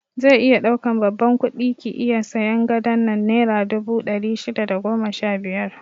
Zai iya ɗaukan babban kudi ki iya sayan gadon nan naira dubu ɗari shida da goma sha biyar